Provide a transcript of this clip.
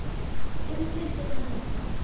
um fyrir utan þetta.